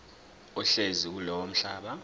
ohlezi kulowo mhlaba